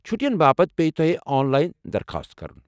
چھٹین باپتھ پیہِ تۄہہ آن لاین درخاست کرن۔